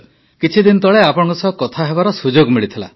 କିଛିଦିନ ତଳେ ଆପଣଙ୍କ ସହ କଥା ହେବାର ସୁଯୋଗ ମିଳିଥିଲା